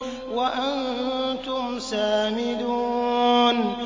وَأَنتُمْ سَامِدُونَ